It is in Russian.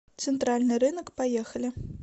центральный рынок поехали